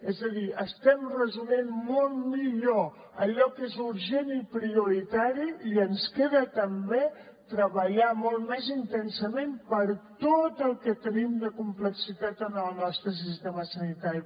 és a dir estem resolent molt millor allò que és urgent i prioritari i ens queda també treballar molt més intensament per tot el que tenim de complexitat en el nostre sistema sanitari